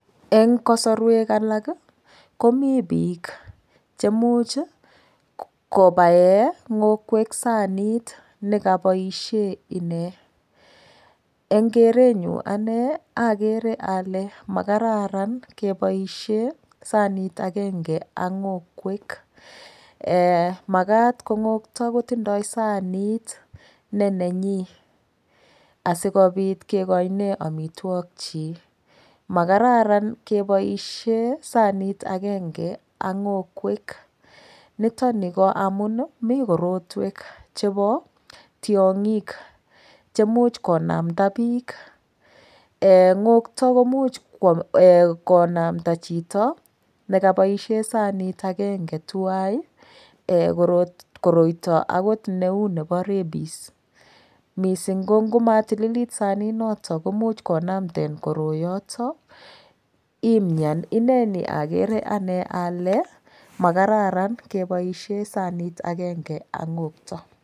Eng' kasorwek alak komi biik chemuch kobae ng'okwek sanit nekaboishe ine eng' kerenyu ane agere ale makararan keboishe sanit agenge ak ng'okwek makat ko ng'okto kotindoi sanit nenenyi asikobit kekoine omitwokchi makararan keboishe sanit agenge ak ng'okwek nitoni ko amun mi korotwek chebo tiong'ik chemuch konamta biik ng'okto komuch konamta chito nekaboishe sanit agenge tuwai koroito akot neu nebo rabies mising kongumatililit saninoto komuch konamten koroyoto imyan ineni agere ane ale makararan keboishe sanit agenge ak ng'okto